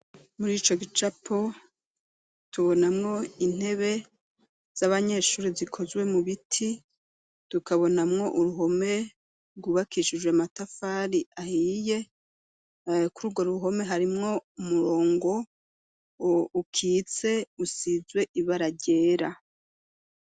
Muri ico gicapo, tubonamwo intebe z'abanyeshuri zikozwe mu biti, tukabonamwo uruhome rwubakishijwe amatafari ahiye kuri urwo ruhome harimwo umurongo ukitse usizwe ibara ryera.